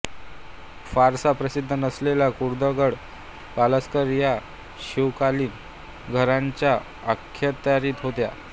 फारसा प्रसिद्ध नसलेला कुर्डुगड पासलकर या शिवकालीन घराण्याच्या अखत्यारीत होता